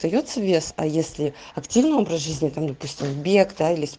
остаётся веса если активный образ жизни там допустим объекта или